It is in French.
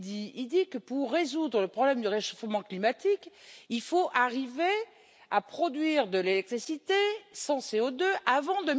Il dit que, pour résoudre le problème du réchauffement climatique, il faut arriver à produire de l'électricité sans CO2 avant